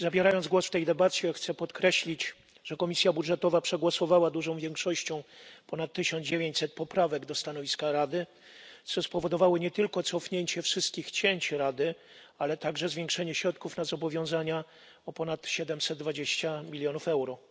Zabierając głos w tej debacie, chcę podkreślić, że Komisja Budżetowa przegłosowała dużą większością ponad 1900 poprawek do stanowiska Rady, co spowodowało nie tylko cofnięcie wszystkich cięć Rady, ale także zwiększenie środków na zobowiązania o ponad 720 milionów euro.